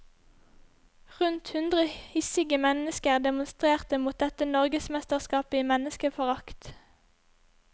Rundt hundre hissige mennesker demonstrerte mot dette norgesmesterskapet i menneskeforrakt.